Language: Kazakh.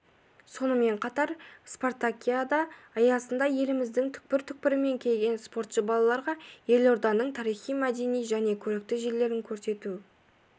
сонымен қатар спартакиада аясында еліміздің түкпір түкпірінен келген спортшы балаларға елорданың тарихи-мәдени және көрікті жерлерін көрсету